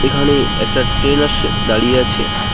এখানে একটা ট্রেন আসছে দাঁড়িয়ে আছে .